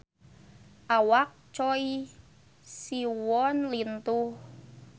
Awak Choi Siwon lintuh